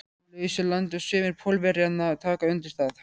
lausu landi og sumir Pólverjanna taka undir það.